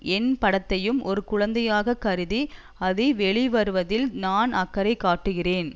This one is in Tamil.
என் படத்தையும் ஒரு குழந்தையாக கருதி அது வெளிவருவதில் நான் அக்கறை காட்டுகிறேன்